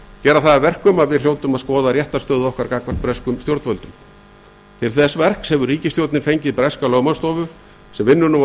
gera það að verkum að við hljótum að skoða réttarstöðu okkar gagnvart breskum stjórnvöldum til þess verks hefur ríkisstjórnin ráðið breska lögmannsstofu sem vinnur nú að